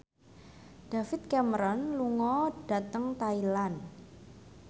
David Cameron lunga dhateng Thailand